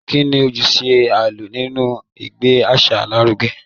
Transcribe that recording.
Kí ni ojúṣe àlọ́ nínú ìgbé àṣà lárugẹ?